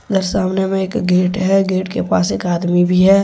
यह सामने में एक गेट है गेट के पास एक आदमी भी है।